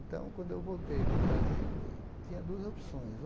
Então, quando eu voltei para o Brasil, eu tinha duas opções.